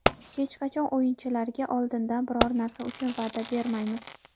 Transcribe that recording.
Hech qachon o‘yinchilarga oldindan biror narsa uchun va’da bermaymiz.